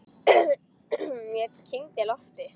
Ég kyngdi lofti.